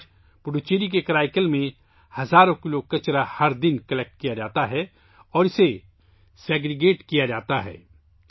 آج، پڈوچیری کے کرائیکل میں ہر روز ہزاروں کلو گرام کچرا جمع کیا جاتا ہے اور اسے الگ الگ کیا جاتا ہے